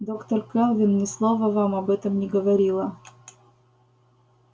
доктор кэлвин ни слова вам об этом не говорила